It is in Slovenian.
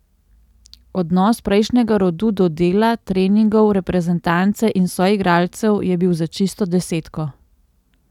Odnos prejšnjega rodu do dela, treningov, reprezentance in soigralcev je bil za čisto desetko.